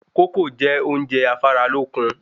Kókò jẹ́ oúnjẹ afáralókun